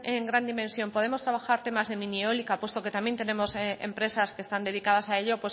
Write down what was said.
en gran dimensión podemos trabajar temas de mini eólica puesto que también tenemos empresas que están dedicadas a ello